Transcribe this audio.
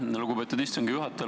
Aitäh, lugupeetud istungi juhataja!